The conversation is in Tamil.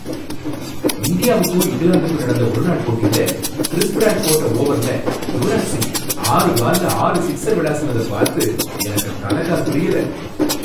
இந்தியாவுக்கும் இங்கிலாந்துக்கும் நடந்த ஒருநாள் போட்டியில கிறிஸ் பிராட் போட்ட ஓவர்ல யுவராஜ் சிங் ஆறு பால்ல ஆறு சிக்ஸர் விளாசுனத பார்த்து எனக்கு தல கால் புரியல.